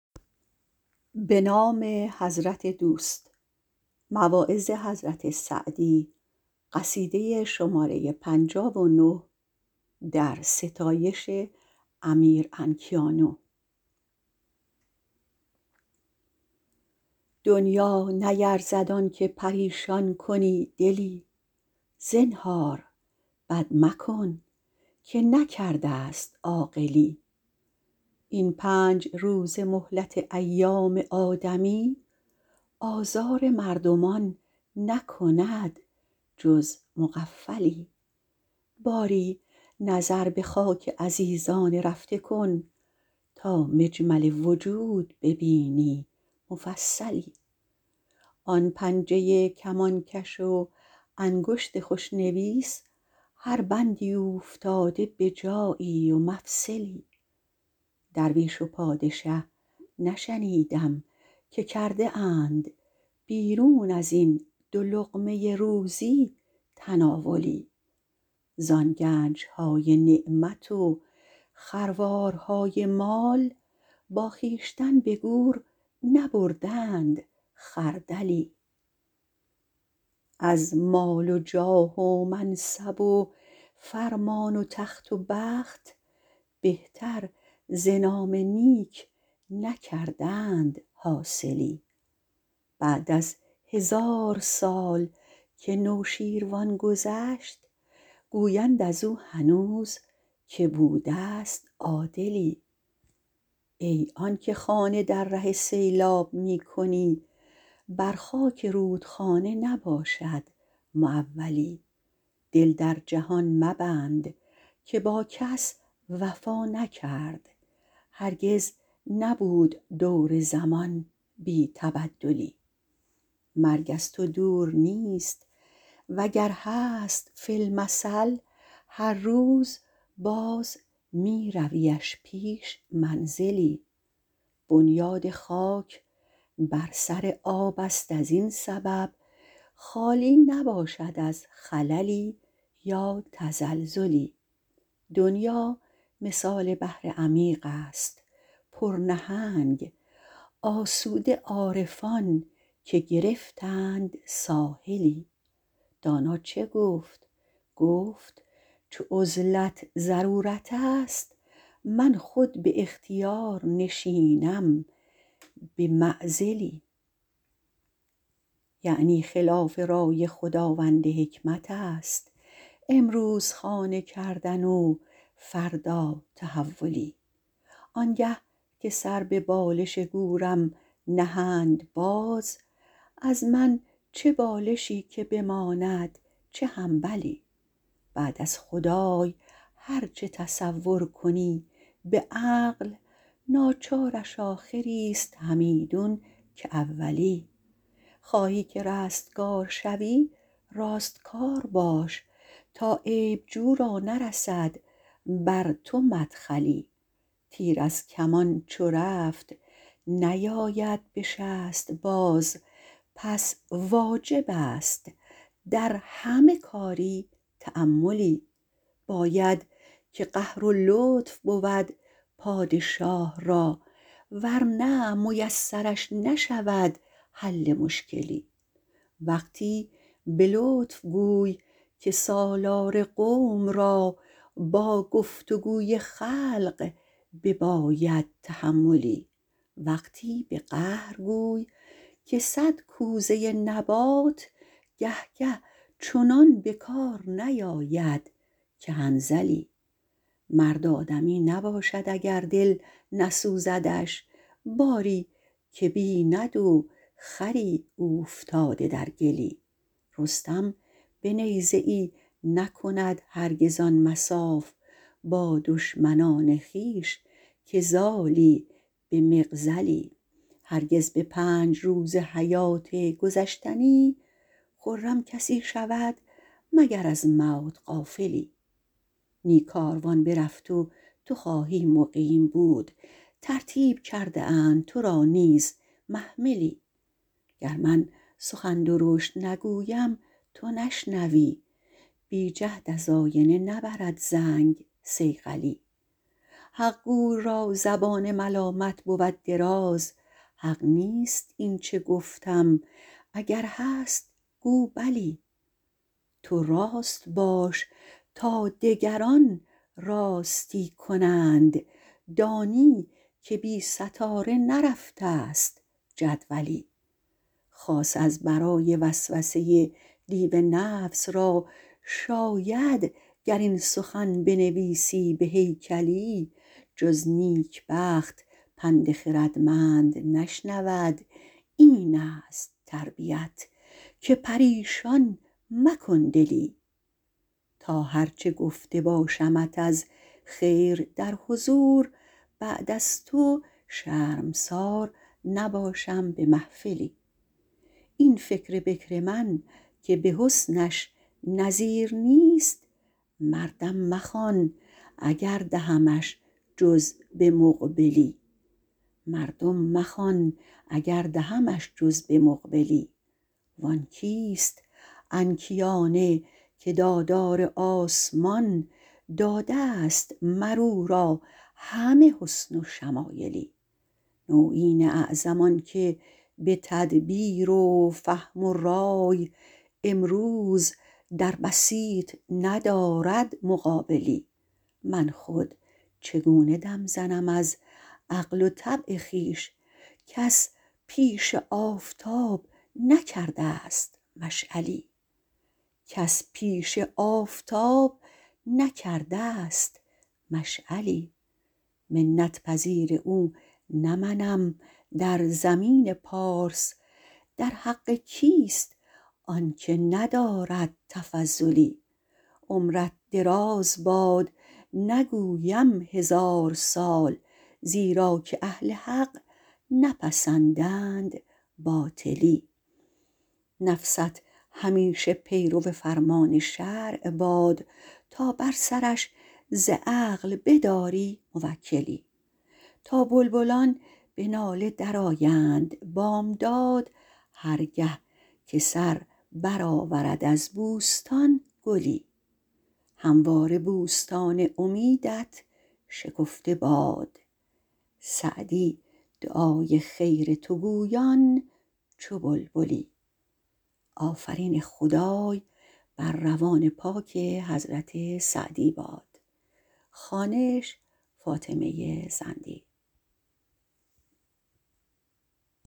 دنیا نیرزد آنکه پریشان کنی دلی زنهار بد مکن که نکردست عاقلی این پنج روزه مهلت ایام آدمی آزار مردمان نکند جز مغفلی باری نظر به خاک عزیزان رفته کن تا مجمل وجود ببینی مفصلی آن پنجه کمانکش و انگشت خوشنویس هر بندی اوفتاده به جایی و مفصلی درویش و پادشه نشنیدم که کرده اند بیرون ازین دو لقمه روزی تناولی زان گنجهای نعمت و خروارهای مال با خویشتن به گور نبردند خردلی از مال و جاه و منصب و فرمان و تخت و بخت بهتر ز نام نیک نکردند حاصلی بعد از هزار سال که نوشیروان گذشت گویند ازو هنوز که بودست عادلی ای آنکه خانه در ره سیلاب می کنی بر خاک رودخانه نباشد معولی دل در جهان مبند که با کس وفا نکرد هرگز نبود دور زمان بی تبدلی مرگ از تو دور نیست وگر هست فی المثل هر روز باز می رویش پیش منزلی بنیاد خاک بر سر آبست ازین سبب خالی نباشد از خللی یا تزلزلی دنیا مثال بحر عمیقست پر نهنگ آسوده عارفان که گرفتند ساحلی دانا چه گفت گفت چو عزلت ضرورتست من خود به اختیار نشینم به معزلی یعنی خلاف رای خداوند حکمت است امروز خانه کردن و فردا تحولی آنگه که سر به بالش گورم نهند باز از من چه بالشی که بماند چه حنبلی بعد از خدای هر چه تصور کنی به عقل ناچارش آخریست همیدون که اولی خواهی که رستگار شوی راستکار باش تا عیب جوی را نرسد بر تو مدخلی تیر از کمان چو رفت نیاید به شست باز پس واجبست در همه کاری تأملی باید که قهر و لطف بود پادشاه را ورنه میسرش نشود حل مشکلی وقتی به لطف گوی که سالار قوم را با گفت و گوی خلق بباید تحملی وقتی به قهر گوی که صد کوزه نبات گه گه چنان به کار نیاید که حنظلی مرد آدمی نباشد اگر دل نسوزدش باری که بیند و خری اوفتاده در گلی رستم به نیزه ای نکند هرگز آن مصاف با دشمنان خویش که زالی به مغزلی هرگز به پنج روزه حیات گذشتنی خرم کسی شود مگر از موت غافلی نی کاروان برفت و تو خواهی مقیم بود ترتیب کرده اند تو را نیز محملی گر من سخن درشت نگویم تو نشنوی بی جهد از آینه نبرد زنگ صیقلی حقگوی را زبان ملامت بود دراز حق نیست اینچه گفتم اگر هست گو بلی تو راست باش تا دگران راستی کنند دانی که بی ستاره نرفتست جدولی خاص از برای وسوسه دیو نفس را شاید گر این سخن بنویسی به هیکلی جز نیکبخت پند خردمند نشنود اینست تربیت که پریشان مکن دلی تا هر چه گفته باشمت از خیر در حضور بعد از تو شرمسار نباشم به محفلی این فکر بکر من که به حسنش نظیر نیست مردم مخوان اگر دهمش جز به مقبلی وان کیست انکیانه که دادار آسمان دادست مرو را همه حسن و شمایلی نویین اعظم آنکه به تدبیر و فهم و رای امروز در بسیط ندارد مقابلی من خود چگونه دم زنم از عقل و طبع خویش کس پیش آفتاب نکردست مشعلی منت پذیر او نه منم در زمین پارس در حق کیست آنکه ندارد تفضلی عمرت دراز باد نگویم هزار سال زیرا که اهل حق نپسندند باطلی نفست همیشه پیرو فرمان شرع باد تا بر سرش ز عقل بداری موکلی تا بلبلان به ناله درآیند بامداد هر گه که سر برآورد از بوستان گلی همواره بوستان امیدت شکفته باد سعدی دعای خیر تو گویان چو بلبلی